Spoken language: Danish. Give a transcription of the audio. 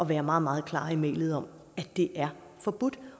være meget meget klar i mælet om at det er forbudt